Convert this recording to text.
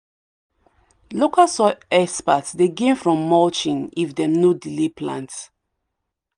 local soil experts dey gain from mulching if dem no delay plant.